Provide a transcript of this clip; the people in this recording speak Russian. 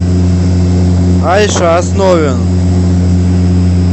айша основин